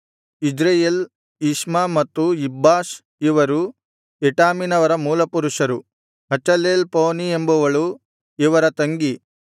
ಇಜ್ರೆಯೇಲ್ ಇಷ್ಮ ಮತ್ತು ಇಬ್ಬಾಷ್ ಇವರು ಎಟಾಮಿನವರ ಮೂಲಪುರುಷರು ಹಚೆಲೆಲ್‌ಪೋನೀ ಎಂಬವಳು ಇವರ ತಂಗಿ